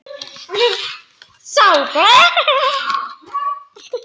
Það var mjög mikill texti.